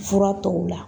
Fura tɔw la